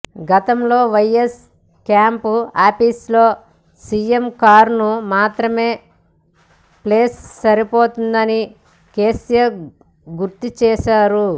గతంలో YS camp office లో CM కారుకు మాత్రమే ప్లేస్ సరిపోతుందని కేసీఆర్ గుర్తుచేశారు